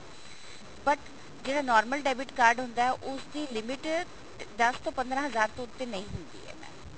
but ਜਿਹੜਾ normal debit ਕਰਦਾ ਹੁੰਦਾ ਉਸ ਦੀ limit ਦਸ ਤੋਂ ਪੰਦਰਾ ਹਜ਼ਾਰ ਦੇ ਉੱਤੇ ਨਹੀ ਹੁੰਦੀ ਹੈ mam